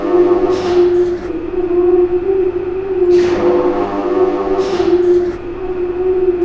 lighting भी लगाए है एक बोर्ड है जिसमें इंस्ट्रक्शन लगा है और उसपे भी सामने का आसमान दिख रहा--